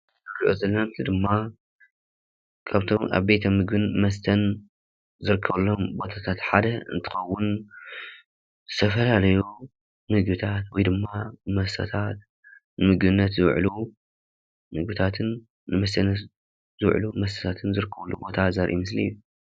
እንሪኦ ዘለና ምስሊ ድማ ካብቶም ኣብ ቤተ ምግብን መስተን ዝርከበሎም ቦታታት ሓደ እንትኸዉን ዝተፈላለዩ ምግብታት ወይ ድማ መስተታት ንምግብነት ዝዉዕሉ ምግብታትን ንመስተ ዝዉዕሉ መስተታትን ዝርከብሉ ቦታ ዘርኢ ምስሊ እዩ።